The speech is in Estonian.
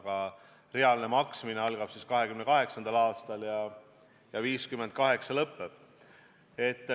Aga reaalne maksmine algab 2028. aastal ja lõpeb 2058. aastal.